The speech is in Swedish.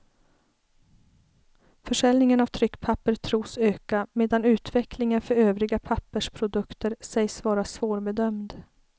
Försäljningen av tryckpapper tros öka, medan utvecklingen för övriga pappersprodukter sägs vara svårbedömd.